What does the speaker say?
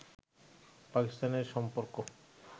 পাকিস্তানের সম্পর্ক